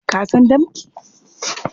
Ka san danki?